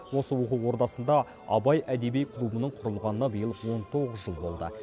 осы оқу ордасында абай әдеби клубының құрылғанына биыл он тоғыз жыл болды